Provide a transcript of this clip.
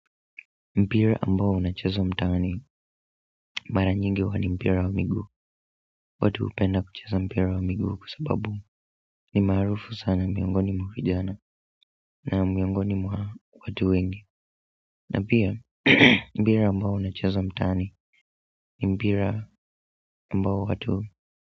Mpira ambao unacheza mtaani mara nyingi huwa ni mpira wa miguu watu hupenda kuchrzo mpira wa miguu kwa sababu ni maarufu sana miongoni mwa vijana na miongoni mwa watu wengi na pia mpira ambao unachezwa mtaani ni mpira ambao watu.